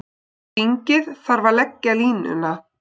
Þingið þarf að leggja línuna.